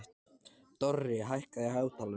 Dorri, hækkaðu í hátalaranum.